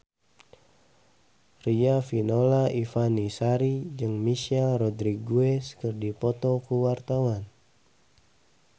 Riafinola Ifani Sari jeung Michelle Rodriguez keur dipoto ku wartawan